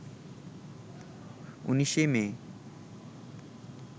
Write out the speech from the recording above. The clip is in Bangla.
১৯ মে